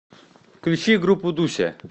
включи группу дуся